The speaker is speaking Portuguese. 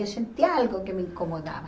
Eu sentia algo que me incomodava.